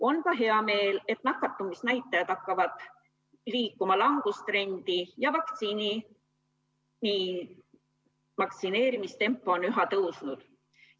On ka hea meel, et nakatumisnäitajad hakkavad liikuma langustrendi ja vaktsineerimistempo on üha tõusnud.